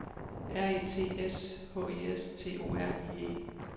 R E T S H I S T O R I E